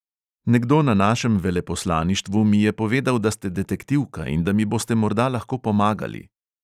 Nekdo na našem veleposlaništvu mi je povedal, da ste detektivka in da mi boste morda lahko pomagali.